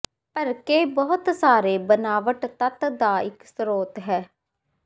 ਭਰਕੇ ਬਹੁਤ ਸਾਰੇ ਬਣਾਵਟ ਤੱਤ ਦਾ ਇੱਕ ਸਰੋਤ ਹੈ